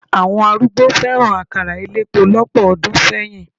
Àwọn arúgbó fẹ́ràn àkàrà elépo lọ́pọ̀ ọdún sẹ́yìn.